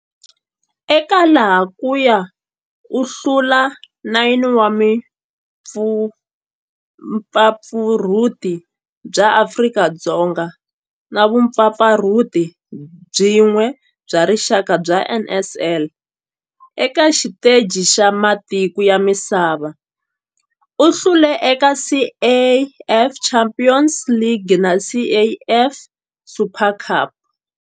Eka laha kaya u hlule 9 wa vumpfampfarhuti bya Afrika-Dzonga na vumpfampfarhuti byin'we bya rixaka bya NSL. Eka xiteji xa matiko ya misava, u hlule eka CAF Champions League na CAF Super Cup.